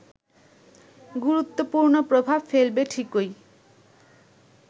গুরুত্বপূর্ণ প্রভাব ফেলবে ঠিকই